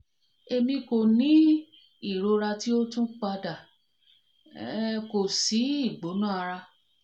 emi ko ni irora ti o tun pada um ko si si igbona ara